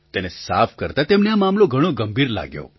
તેને સાફ કરતા તેમને આ મામલો ઘણો ગંભીર લાગ્યો